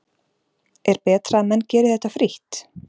Er betra að menn geri þetta frítt?